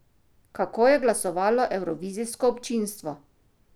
Kako je glasovalo evrovizijsko občinstvo?